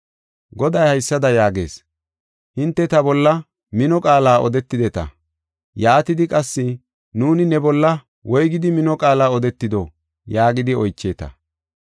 Goday haysada yaagees: “Hinte ta bolla mino qaala odetideta. Yaatidi qassi, ‘Nuuni ne bolla woygidi mino qaala odetido?’ yaagidi oycheeta.